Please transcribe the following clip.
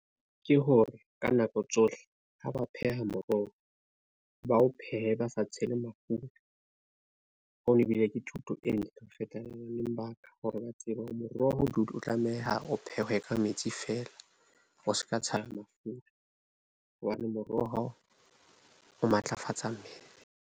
Ke hore ka nako tsohle ha ba pheha moroho, ba o phehe ba sa tshele mafura. Hono ebile ke thuto e ntle ho , le baka hore ba tsebe hore moroho, o tlameha o phehwe ka metsi fela, o ska tshelwa mafura hobane moroho o matlafatsa mmele.